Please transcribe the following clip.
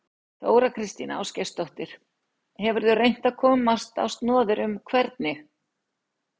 Þóra Kristín Ásgeirsdóttir: Hefurðu reynt að komast á snoðir um hvernig?